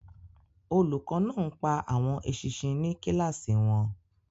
Olùkọ́ náà ń pa àwọn eṣinṣin ní kíláàsì wọn.